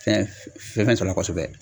Fɛn fɛn sɔrɔ a la kosɛbɛ